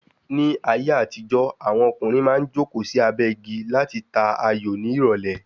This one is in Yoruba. Ní ayé àtijó, Àwọn ọkùnrin maá n joko sí abé igi lati ta ayò ní ìrọ̀lé